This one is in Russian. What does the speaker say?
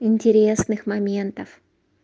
интересных моментов